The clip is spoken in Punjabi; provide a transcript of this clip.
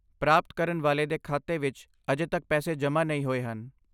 ਪ੍ਰਾਪਤ ਕਰਨ ਵਾਲੇ ਦੇ ਖਾਤੇ ਵਿੱਚ ਅਜੇ ਤੱਕ ਪੈਸੇ ਜਮ੍ਹਾਂ ਨਹੀਂ ਹੋਏ ਹਨ।